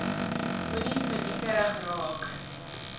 moenie paniekerig raak